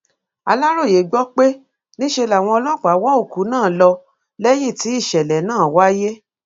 aláròye gbọ pé níṣe làwọn ọlọpàá wọ òkú náà lọ lẹyìn tí ìṣẹlẹ náà wáyé